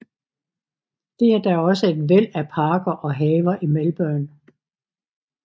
Der er da også et væld af parker og haver i Melbourne